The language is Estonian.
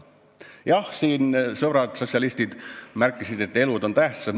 Jah, siin sõbrad sotsialistid märkisid, et elud on tähtsad.